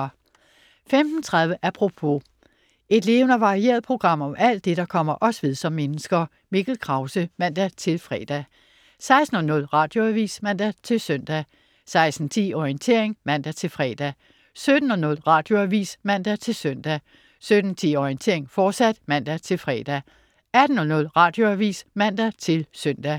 15.30 Apropos. Et levende og varieret program om alt det, der kommer os ved som mennesker. Mikkel Krause (man-fre) 16.00 Radioavis (man-søn) 16.10 Orientering (man-fre) 17.00 Radioavis (man-søn) 17.10 Orientering, fortsat (man-fre) 18.00 Radioavis (man-søn)